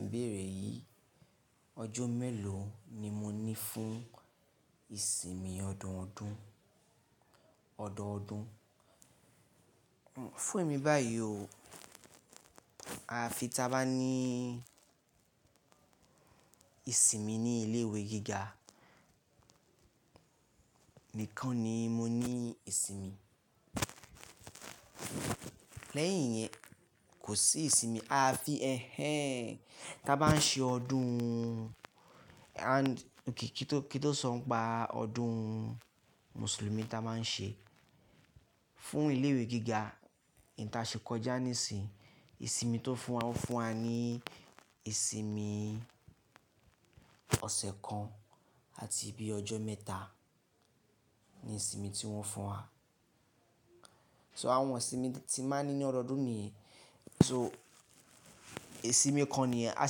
Ibéere yì, ọjọ́ mélòó ni mo ní fún ìsinmi ọdọọdún? Ọ̀dọọdún. Fún èmi báyìí o, à fi tí a bá ní ìsinmi ní ilé ìwé gíga, nìkan ni mo ní ìsinmi. Lẹ́yìn yẹn kò sí ìsinmi. A fi ẹ̀ ẹ́ tí a bá n ṣe ọdún, kí n tó sọ npa ọdún Mùsùlùmí tí a máa n ṣe, fún ilé ìwé gíga, eyì ta ṣe kọjá nísinsìnyí, ìsinmi tó fún wa ni ìsinmi ọ̀sẹ̀ kan àti bi ọjọ́ mẹ́ta ni ìsinmi tí wọ́n fún wa. So àwọn ìsinmi tí máa ní ní ọdọọdún ni, so isìnmí kan niyen a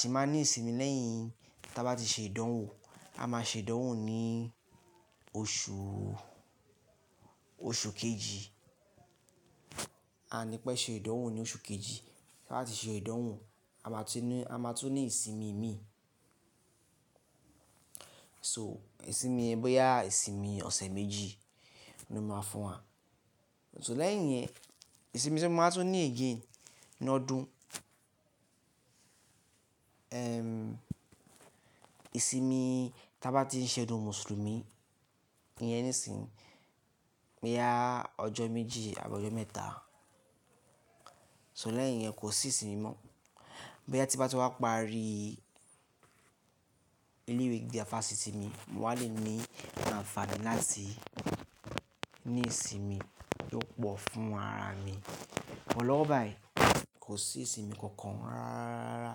sì máa n ní ìsinmi lẹ́yìn tí a bá ti ṣe ìdánwò, a máa ṣe ìdánwò ní oṣù kejì, a ní pẹ́ ṣe ìdánwò ní oṣù kejì. Láti ṣe ìdánwò a máa tun ní ìsinmi mi. So ìsinmi yẹ̀n bóyá ìsinmi ọ̀sẹ̀ méjì ni wọ́n máa fún wa. So lẹ́yìn yẹn ìsinmi tí a máa tun ní again ní ọdún, èrm ìsinmi tí a bá ti n ṣe ọdún Mùsùlùmí yẹn nísinsìnyí, boyà ọjọ́ méjì àbí ọjọ́ mẹ́ta. So lẹ́yìn yẹn kò sí ìsinmi mọ́. Bóyá tí n bá ti wá parí ilé ìwé gíga fásitì mi, mo wáa le ní àǹfààní láti ní ìsinmi tó pọ̀ fún ara mi. Sugbon lọ́wọ́ báyìí kò sí ìsinmi kankan rárá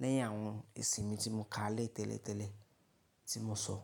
lẹ́yìn àwọn ìsinmi tí mo ka lé tẹ́lẹ̀tẹ́lẹ̀ tí mo sọ.